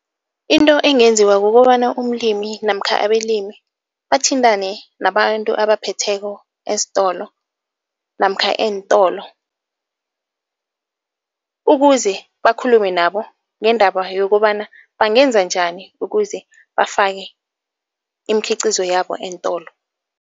Into engenziwa kukobana umlimi namkha abelimi bathintane nabantu abaphetheko esitolo namkha eentolo, ukuze bakhulume nabo ngendaba yokobana bangenza njani ukuze bafake imikhiqizo yabo eentolo.